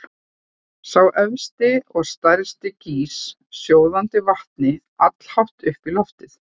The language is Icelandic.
Sá efsti og stærsti gýs sjóðandi vatni allhátt upp í loftið.